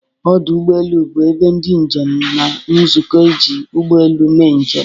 Ọdụ ụgbọ elu bụ ebe ndị njem na-ezukọ iji ụgbọ elu mee njem.